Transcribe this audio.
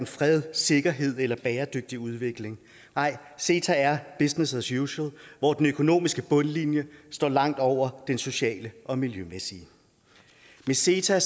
fred sikkerhed eller bæredygtig udvikling nej ceta er business as usual hvor den økonomiske bundlinje står langt over den sociale og miljømæssige med ceta